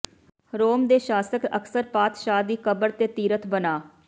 ਰੋਮ ਦੇ ਸ਼ਾਸਕ ਅਕਸਰ ਪਾਤਸ਼ਾਹ ਦੀ ਕਬਰ ਤੇ ਤੀਰਥ ਬਣਾ